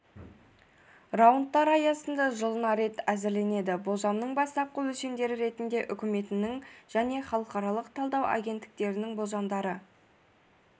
раундтары аясында жылына рет әзірленеді болжамның бастапқы өлшемдері ретінде үкіметінің және халықаралық талдау агенттіктерінің болжамдары